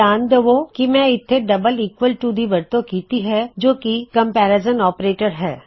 ਧਿਆਨ ਦਿੳ ਕੀ ਮੈਂ ਇੱਥੇ ਡਬਲ ਈਕਵਲ ਟੂ ਦੀ ਵਰਤੋਂ ਕੀਤੀ ਹੈ ਜੋ ਕੀ ਕਮਪੈਰਿਜ਼ਨ ਔਪਰੇਟਰ ਹੈ